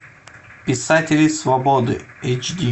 писатели свободы эйч ди